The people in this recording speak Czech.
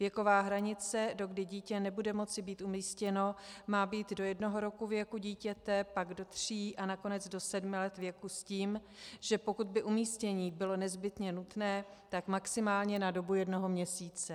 Věková hranice, dokdy dítě nebude moci být umístěno, má být do jednoho roku věku dítěte, pak do tří a nakonec do sedmi let věku s tím, že pokud by umístění bylo nezbytně nutné, tak maximálně na dobu jednoho měsíce.